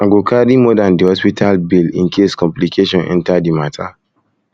i go carry more dan di hospital bill bill incase complication enta di mata